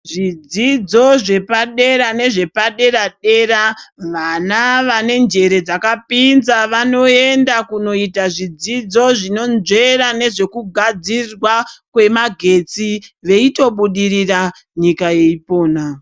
Zvidzidzo zvepadera nezvepadera dera vana vane njere dzakapinza vanoenda noita zvidzidzo zvinonzvera nezvekugadzirwa kwemagetsi vaitobudirira nyika yeipona.